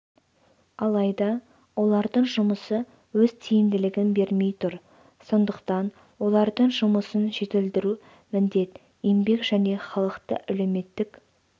алайда олардың жұмысы өз тиімділігін бермей тұр сондықтан олардың жұмысын жетілдіру міндет еңбек және халықты әлеуметтік